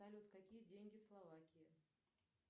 салют какие деньги в словакии